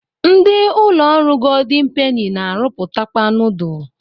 Ndi ụlọ ọrụ goldin peni na-arụpụtakwa nudul.